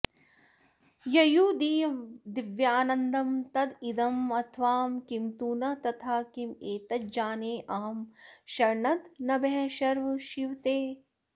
ययुर्दिव्यानन्दं तदिदमथवा किं तु न तथा किमेतज्जानेऽहं शरणद नमः शर्व शिव ते